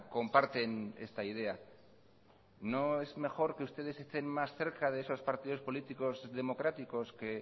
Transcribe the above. comparten esta idea no es mejor que ustedes estén más cerca de esos partidos políticos democráticos que